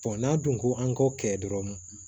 n'a dun ko an k'o kɛ dɔrɔn